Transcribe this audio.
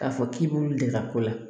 K'a fɔ k'i b'olu de ka ko la